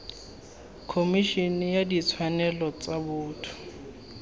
khomišene ya ditshwanelo tsa botho